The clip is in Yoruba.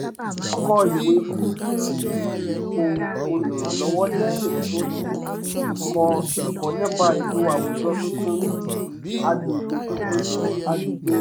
ó kọ ìwé fún ipò olùrànlọ́wọ́ lẹ́yìn tó ti kọ́ ẹ̀kọ́ nípa ètò àwùjọ tuntun ní agbègbè tuntun ní agbègbè rẹ̀